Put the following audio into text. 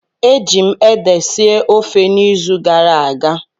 Eji m ede sie ofe n'izu gara aga